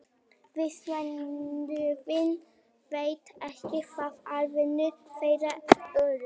vísindavefurinn veit ekki hver afdrif þeirra urðu